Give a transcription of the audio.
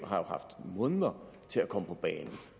har haft måneder til at komme på banen og